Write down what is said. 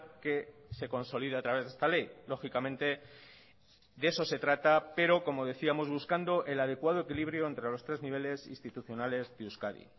que se consolida a través de esta ley lógicamente de eso se trata pero como decíamos buscando el adecuado equilibrio entre los tres niveles institucionales de euskadi